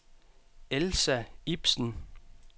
Elsa Ibsen